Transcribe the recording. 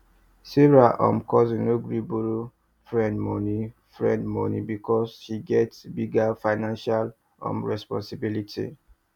sarah um cousin no gree borrow friend money friend money because she get bigger financial um responsibility